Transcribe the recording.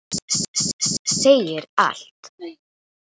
Það segir allt.